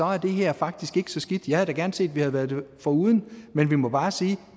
er det her faktisk ikke så skidt jeg havde da gerne set at vi havde været det foruden men vi må bare sige at